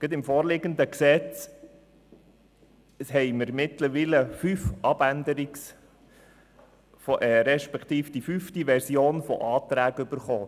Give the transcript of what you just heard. Beim vorliegenden Gesetz liegt mittlerweile die fünfte Version eines Antrags vor.